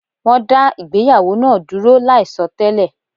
Wọ́n dá ìgbéyàwó náa dúró láì sọ télè